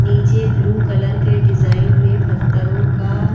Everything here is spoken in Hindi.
नीचे ब्लू कलर के डिजाइन में पत्थरों का--